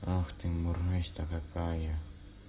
ах ты мразь-то какая